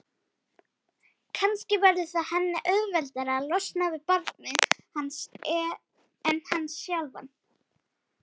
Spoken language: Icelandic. Kannski verður það henni auðveldara að losna við barnið hans en hann sjálfan.